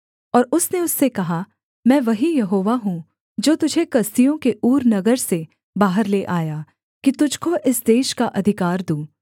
और उसने उससे कहा मैं वही यहोवा हूँ जो तुझे कसदियों के ऊर नगर से बाहर ले आया कि तुझको इस देश का अधिकार दूँ